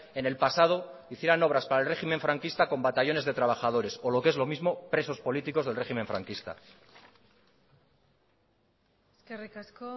en el pasado hicieran obras para el régimen franquista con batallones de trabajadores o lo que es lo mismo presos políticos del régimen franquista eskerrik asko